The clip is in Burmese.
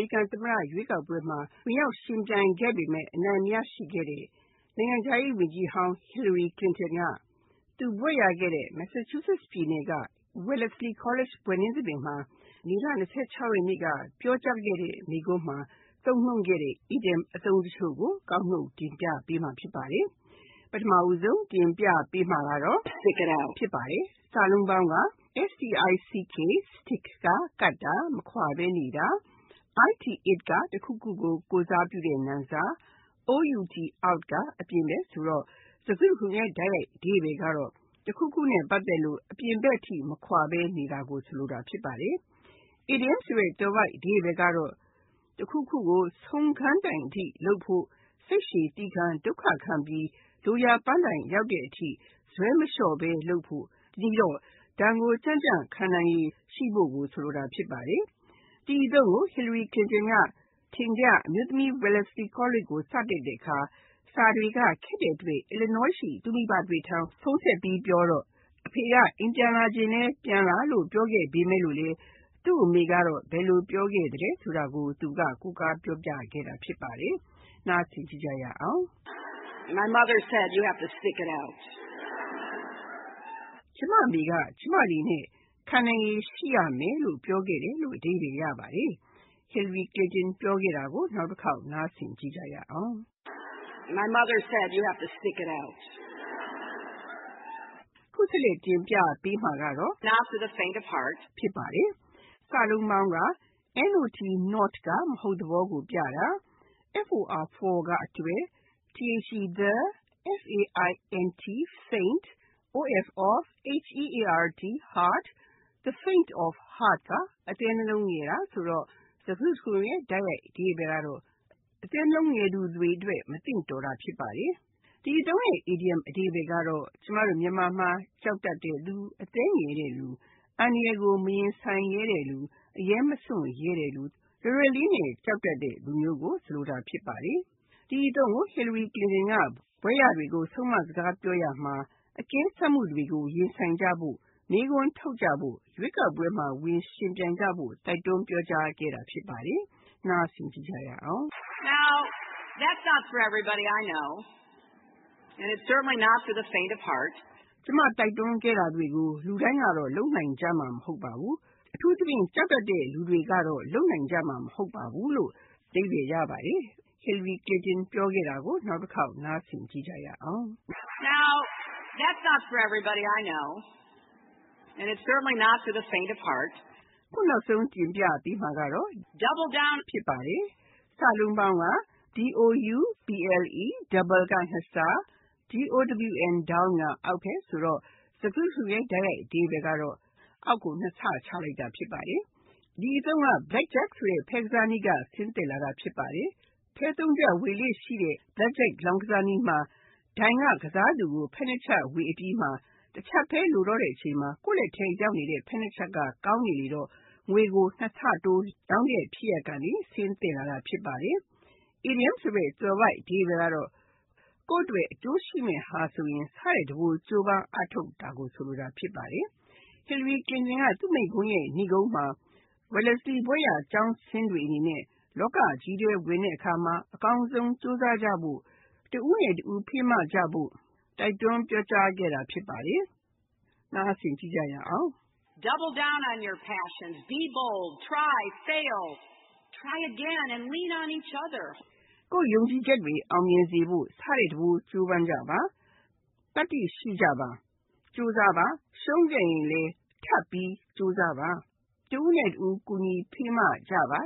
ရိကန်သမ္မတရွေးကောက်ပွဲမှာ ဝင်ရောက်ယှဉ်ပြိုင်ခဲ့ပေမယ့် အနိုင်မရရှိခဲ့တဲ့ နိုင်ငံခြားရေးဝန်ကြီးဟောင်း Hillary Clinton က သူဘွဲ့ရခဲ့တဲ့ Massachusetts ပြည်နယ်က Wellesley College ဘွဲ့နှင်းသဘင်မှာ မေလ (၂၆) ရက်နေ့က ပြောကြားခဲ့တဲ့ မိန့်ခွန်းမှာ သုံးနှုန်းခဲ့တဲ့ အီဒီယံအသုံးတချို့ဖြစ်တဲ့ Stick it out, Not for the faint of heart နဲ့ Double down တို့ကို ကောက်နုတ်တင်ပြထားပါတယ်။ (၁) Stick it out Stick (ကပ်တာ၊ မခွါဘဲနေတာ)၊ it (တခုခုကို ကိုယ်စားပြုတဲ့နာမ်စား)၊ out (အပြင်ဘက်) ဖြစ်ပြီး၊စကားစုတခုလုံးရဲ့ တိုက်ရိုက်အဓိပ္ပါယ်က တခုခုနဲ့ ပတ်သက်လို့ အပြင်ဘက်အထိ မခွါဘဲနေတာကို ဆိုလိုတာဖြစ်ပါတယ်။ အီဒီယံဆိုတဲ့ သွယ်ဝိုက်အဓိပ္ပါယ်ကတော့ တခုခုကို ဆုံးခန်းတိုင်အထိလုပ်ဖို့ စိတ်ရှည်သည်းခံ၊ ဒုက္ခခံပြီး လိုရာပန်းတိုင်ရောက်တဲ့အထိ ဇွဲမလျှော့ဘဲလုပ်ဖို့၊ ဒဏ်ကိုကြံ့ကြံ့ခံနိုင်ရည် ရှိဖို့ကို ဆိုလိုတာ ဖြစ်ပါတယ်။ ဒီအသုံးကို Hillary Clitnon က အထင်ကရ အမျိုးသမီး Wellesley College ကို စတက်တဲ့အခါ စာတွေက ခက်တဲ့အတွက် Illinois ရှိ သူ့မိဘတွေထံ ဖုန်းဆက်ပြီးပြောတော့ အဖေဖြစ်သူက အိမ်ပြန်လာချင်လဲပြန်လာလို့ ပြောခဲ့ပေမယ့်လဲ သူ့အမေက ဘယ်လိုပြောခဲ့သလဲဆိုတာကို သူက ကိုးကားပြောပြခဲ့တာ ဖြစ်ပါတယ်။ လေ့လာကြည့်ရအောင်ပါ။ My mother said you have to stick it out. ကျမအမေက ကျမအနေနဲ့ ခံနိုင်ရည်ရှိရမယ်လို့ ပြောခဲ့တယ်။ (၂) Not for the faint of heart Not (မဟုတ်သဘောကိုပြတာ)၊ for (အတွက်)၊ the faint of heart (အသည်းနှလုံးငယ်တာ) ဖြစ်ပြီး၊ စကားစုတခုလုံးရဲ့ တိုက်ရိုက်အဓိပ္ပါယ်က အသည်းနှလုံးငယ်သူတွေအတွက် မသင့်တော်တာ ဖြစ်ပါတယ်။ ဒီအသုံးရဲ့ အီဒီယံအဓိပ္ပါယ်က ကျမတို့မြန်မာမှာ ကြောက်တတ်တဲ့လူ၊ အသည်းငယ်တဲ့၊ အသည်းကြောင်တဲ့လူ၊ အန္တရာယ်ကို မရင်ဆိုင်ရဲတဲ့လူ၊ အရဲမစွန့်ရဲတဲ့လူ၊ လွယ်လွယ်လေးနဲ့ ကြောက်တတ်တဲ့လူမျိုးနဲ့မသင့်တော်တာကို ဆိုလိုတာဖြစ်ပါတယ်။ ဒီအသုံးကို Hillary Clinton က ဘွဲ့ရတွေကို ဆုံးမစကား ပြောရာမှာ အကဲစမ်းမှုတွေကို ရင်ဆိုင်ကြဖို့၊ မေးခွန်းထုတ်ကြဖို့၊ ရွေးကောက်ပွဲမှာ ဝင်ယှဉ်ပြိုင်ကြဖို့ တိုက်တွန်းပြောကြားခဲ့တာ ဖြစ်ပါတယ်။ လေ့လာကြည့်ရအောင်ပါ။ Now, that's not for everybody. I know. And it's certainly not for the faint of heart. ကျမ တိုက်တွန်းခဲ့တာတွေကို လူတိုင်းကတော့ လုပ်နိုင်ကြမှာ မဟုတ်ပါဘူး။ အထူးသဖြင့် သတ္တိကြောင်တဲ့ လူတွေကတော့ လုပ်နိုင်ကြမှာ မဟုတ်ပါဘူး။ (၃) Double down Double (နှစ်ဆ)၊ down (အောက်ဘက်) ဆိုတော့ စကားစုတခုလုံးရဲ့ လုံးကောက်အဓိပ္ပါယ်က အောက်ကိုနှစ်ဆ ချလိုက်တာ ဖြစ်ပါတယ်။ ဒီအသုံးက Blackjack ဆိုတဲ့ ဖဲကစားနည်းက ဆင်းသက်လာတာ ဖြစ်ပါတယ်။ ဖဲသုံးချပ် ဝေလေ့ရှိတဲ့ Blackjack လောင်းကစားနည်းမှာ ဒိုင်က ကစားသူကို ဖဲနှစ်ချပ်ဝေအပြီး ၊ ဖဲတချပ်ပဲ ဝေဖို့ကျန် တော့တဲ့အချိန်မှာ ကိုယ့်လက်ထဲရောက်နေတဲ့ ဖဲနှစ်ချပ်က ကောင်းနေလေတော့၊ နိုင်ချေများတယ်လို့တွက်ပြီး၊ကစားသူက ငွေကို နှစ်ဆတိုး လောင်းတဲ့ဖြစ်ရပ်ကနေ ဆင်းသက်လာတာ ဖြစ်ပါတယ်။ အီဒီယံသွယ်ဝိုက်အဓိပ္ပါယ်ကတော့ ကိုယ့်အတွက် အကျိုးရှိမယ့်ဟာဆိုရင် ဆထက်တပိုး ကြိုးပမ်းအားထုတ်တာ ဖြစ်ပါတယ်။ Hillary Clinton က သူ့မိန့််ခွန်းရဲ့ နိဂုံးမှာ Wellesley ဘွဲ့ရ ကျောင်းဆင်းတွေအနေနဲ့ လောကကြီးထဲ ဝင်တဲ့အခါမှာ အကောင်းဆုံး ကြိုးစားကြဖို့၊ တဦးနဲ့တဦး ဖေးမကြဖို့ တိုက်တွန်းပြောကြားခဲ့တာ ဖြစ်ပါတယ်။ လေ့လာကြည့်ရအောင်ပါ။ Double down on your passions. Be bold. Try. Fail. Try again and lean on each other. ကိုယ့်ယုံကြည်ချက်တွေ အောင်မြင်စေဖို့ ဆထက်တပိုး ကြိုးပမ်းကြပါ။ သတ္တိရှိကြပါ။ ကြိုးစားကြပါ။ ရှုံးခဲ့ရင်လဲ ထပ်ပြီး ကြိုးစားပါ။ တဦးနဲ့တဦး ကူညီဖေးမကြပါ